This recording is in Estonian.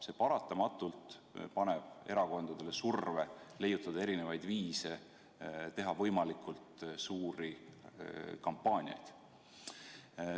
See paratamatult paneb erakondadele surve leiutada erinevaid viise, teha võimalikult suuri kampaaniaid.